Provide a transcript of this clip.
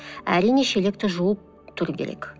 әрине шелекті жуып тұру керек